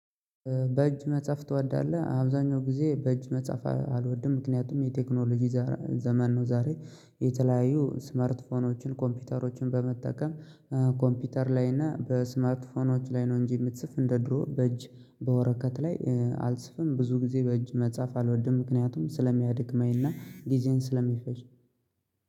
በእጅ መጽሐፍ ትወዳለህ? አብዛኛው ጊዜ በእጅ መጽሐፍ አልወድም ምክንያቱም የቴክኖሎጂ ዘመን ነው። ዛሬ የተለያዩ ስምርት ፎን ኮምፒውተሮችን በመጠቀም ኮምፒውተር ላይ እና በስምርት ፎኖች ላይ ነው እንጂ የምትፅፍ እንደ ድሮ በእጅ በወረቀት ላይ አልጽፍም ብዙ ጊዜ በእጅ መጻፍ አልወድም ምክንያቱም ስለሚያድክመኝ እና ጊዜዬን ስለሚፈጅ።